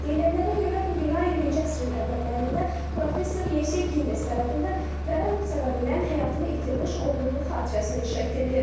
Deyilənlərə görə bu bina 20-ci əsrin əvvəllərində professor Yevsey Gindes tərəfindən vərəm səbəbindən həyatını itirmiş oğlunu xatirəsinə inşa etdirilib.